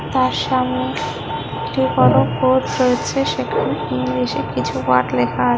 তার সামনে একটি বড়ো বোর্ড রয়েছে সেখানে ইংলিশ -এ কিছু ওয়ার্ড লেখা আ--